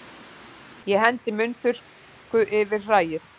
Ég hendi munnþurrku yfir hræið.